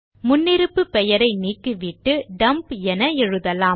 முன்னிருப்பு பெயரை நீக்கிவிட்டு டம்ப் என எழுதலாம்